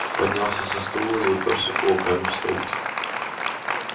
поднялся со стула и упёрся кулаками в стол